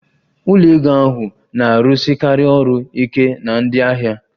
Ụlọ ego ahụ na-arụsikarị ọrụ ike na ndị ahịa